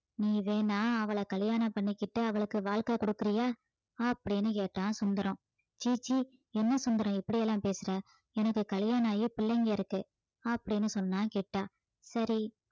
நீ வேணா அவளை கல்யாணம் பண்ணிக்கிட்டு அவளுக்கு வாழ்க்கை கொடுக்கிறியா அப்படின்னு கேட்டான் சுந்தரம் ச்சீ ச்சீ என்ன சுந்தரம் இப்படி எல்லாம் பேசுற எனக்கு கல்யாணம் ஆகி பிள்ளைங்க இருக்கு அப்படீன்னு சொன்னான் கிட்டா சரி